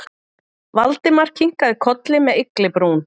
Valdimar kinkaði kolli með ygglibrún.